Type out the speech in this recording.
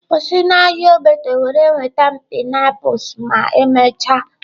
Kwụsị n'ahịa Ogbete were nweta m pineapples ma emechaa!.